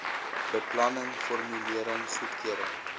beplanning formulering goedkeuring